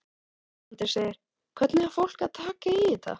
Andri: Hvernig er fólk að taka í þetta?